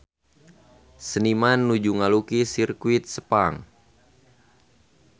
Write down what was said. Seniman nuju ngalukis Sirkuit Sepang